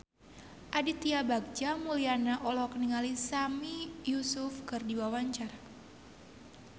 Aditya Bagja Mulyana olohok ningali Sami Yusuf keur diwawancara